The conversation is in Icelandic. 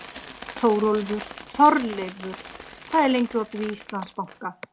Þórleifur, hvað er lengi opið í Íslandsbanka?